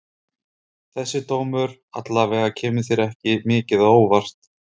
Þessi dómur alla vega kemur þér ekki mikið á óvart?